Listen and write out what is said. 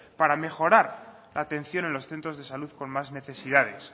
para mejorar la atención en los centros de salud con más necesidades